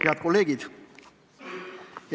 Head kolleegid!